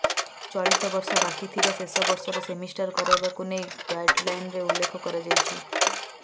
ଚଳିତ ବର୍ଷ ବାକି ଥିବା ଶେଷ ବର୍ଷର ସେମିଷ୍ଟାର୍ କରାଇବାକୁ ନେଇ ଗାଇଡ୍ଲାଇନ୍ରେ ଉଲ୍ଲେଖ କରାଯାଇଛି